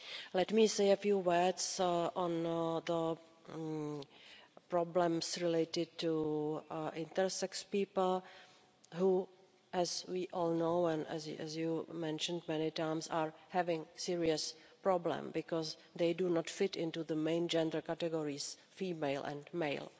Let me say a few words on the problems related to intersex people who, as we all know and as you mentioned many times, are having serious problems because they do not fit into the main gender categories female and male.